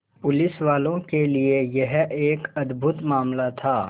पुलिसवालों के लिए यह एक अद्भुत मामला था